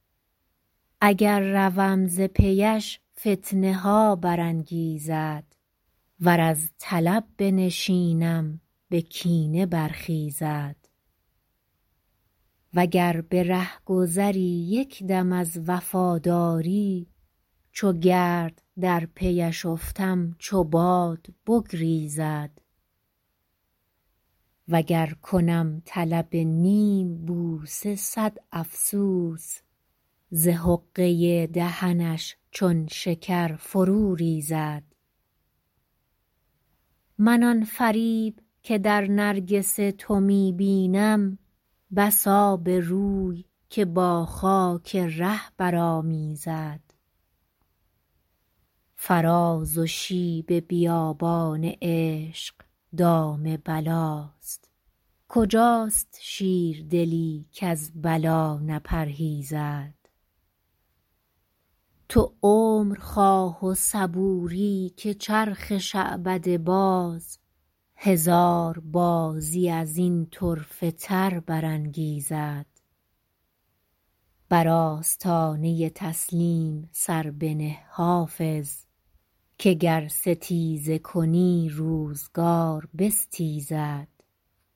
اگر روم ز پی اش فتنه ها برانگیزد ور از طلب بنشینم به کینه برخیزد و گر به رهگذری یک دم از وفاداری چو گرد در پی اش افتم چو باد بگریزد و گر کنم طلب نیم بوسه صد افسوس ز حقه دهنش چون شکر فرو ریزد من آن فریب که در نرگس تو می بینم بس آبروی که با خاک ره برآمیزد فراز و شیب بیابان عشق دام بلاست کجاست شیردلی کز بلا نپرهیزد تو عمر خواه و صبوری که چرخ شعبده باز هزار بازی از این طرفه تر برانگیزد بر آستانه تسلیم سر بنه حافظ که گر ستیزه کنی روزگار بستیزد